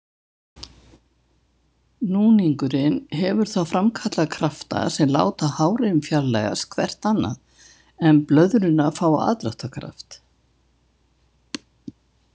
Núningurinn hefur þá framkallað krafta sem láta hárin fjarlægjast hvert annað en blöðruna fá aðdráttarkraft.